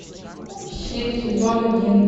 щит сезон один